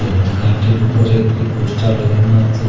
এই দুকানটির উপরে একটি পোস্টার লাগানো আছে।